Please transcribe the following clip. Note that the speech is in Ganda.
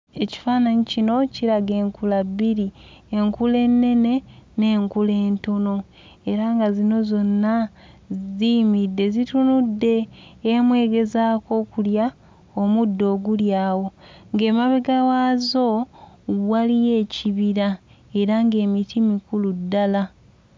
Ekifaananyi kino kiraga enkula bbiri. Enkula ennene n'enkula entono era nga zino zonna ziyimiridde zitunudde emu egezaako okulya omuddo oguli awo ng'emabega waazo waliyo ekibira era ng'emiti mikulu ddala.